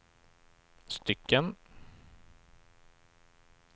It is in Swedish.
stycken